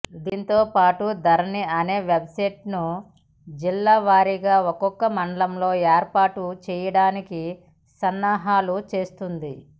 దీంతో పాటు ధరణి అనే వెబ్సైట్ను జిల్లాల వారీగా ఒక్కో మండలంలో ఏర్పాటు చేయడానికి సన్నాహాలు చేస్తుంది